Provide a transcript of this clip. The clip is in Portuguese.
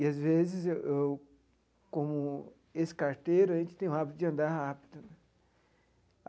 E, às vezes eu, como ex-carteiro, a gente tem o hábito de andar rápido.